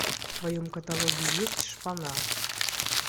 в твоем каталоге есть шпана